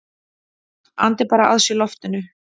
Andi bara að sér loftinu.